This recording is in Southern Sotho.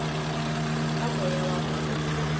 ka moya wa ho etsa